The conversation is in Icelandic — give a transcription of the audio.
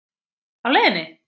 Á leiðinni?